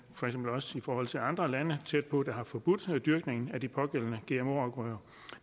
for eksempel også i forhold til andre lande tæt på der har forbudt dyrkning af de pågældende gmo afgrøder